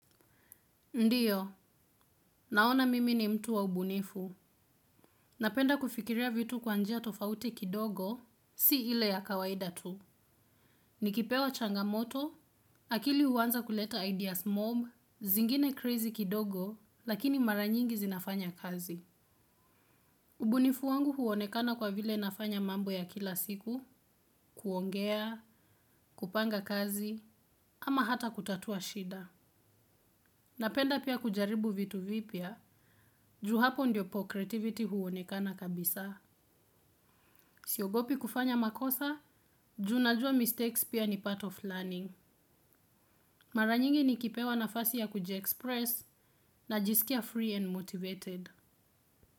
Ndio naona mimi ni mtu wa ubunifu. Napenda kufikiria vitu kwa njia tofauti kidogo, si ile ya kawaida tu. Nikipewa changamoto, akili huwanza kuleta ideas mob, zingine crazy kidogo, lakini mara nyingi zinafanya kazi. Ubunifu wangu huonekana kwa vile nafanya mambo ya kila siku, kuongea, kupanga kazi, ama hata kutatua shida. Napenda pia kujaribu vitu vipya, ju hapo ndipo creativity huonekana kabisa. Siogopi kufanya makosa, juu najua mistakes pia ni part of learning. Mara nyingi nikipewa nafasi ya kuji express najisikia free and motivated.